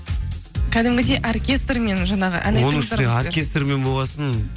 кәдімгідей оркестрмен жаңағы оркестрмен болған соң